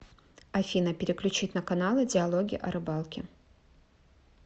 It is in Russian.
афина переключить на каналы диалоги о рыбалке